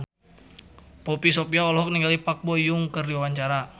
Poppy Sovia olohok ningali Park Bo Yung keur diwawancara